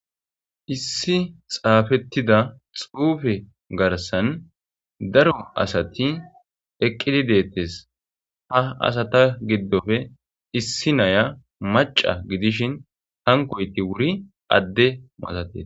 Issi xaafetida xuufe garssan daro asati eqqidi de'etes ha asata giddoppe issi naya macca gidishin hankoyti wuri adde masatees.